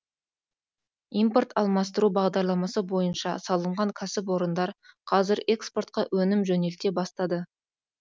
импорт алмастыру бағдарламасы бойынша салынған кәсіпорындар қазір экспортқа өнім жөнелте бастады